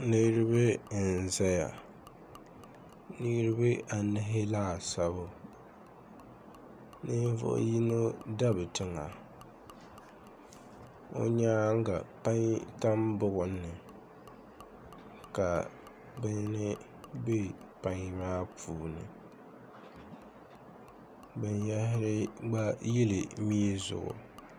niriba n-zaya niriba anahi laasabu ninvuɣ' yino dabi tiŋa o nyaaŋa payini tam buɣum ni ka bini be payini maa puuni binyɛhiri gba yili mia zuɣu